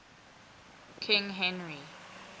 king henry